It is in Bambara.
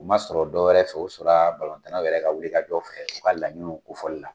U man sɔrɔ dɔwɛrɛ fɛ u sɔrɔ la tanw na yɛrɛ ka wulika jɔ fɛ u ka laɲiniw kofɔli la.